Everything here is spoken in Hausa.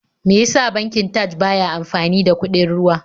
Me ya sa bankin Taj ba ya amfani da kuɗin ruwa?